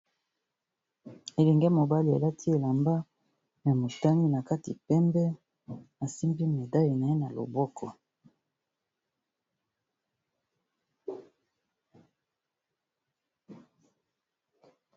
Elenge mobali alati elamba ya motane na kati pembe asimbi medaile na ye na loboko.